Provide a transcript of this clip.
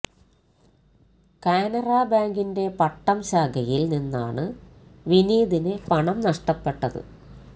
കാനറ ബാങ്കിന്റെ പട്ടം ശാഖയില് നിന്നാണ് വിനീതിന് പണം നഷ്ടപ്പെട്ടത്